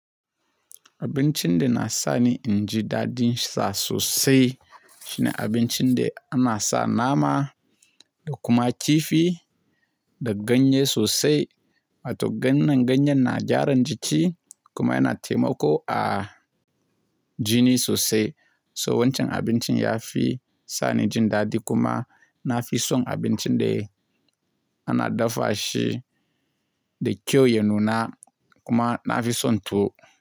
Abincin da na sani inji daɗin sa sosai shine abincin da ana sa nama da kuma kifi da ganye sosai. Wato gannan ganyen na gyaran jiki kuma yana taimako a jini sosai. So wancan abincin ya fi sa ni jin daɗi kuma na fi son abincin da ana dafa shi da kyau ya nuna kuma na fi son tuwo.